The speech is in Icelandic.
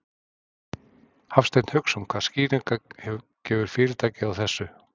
Hafsteinn Hauksson: Hvaða skýringar gefur fyrirtækið á þessu?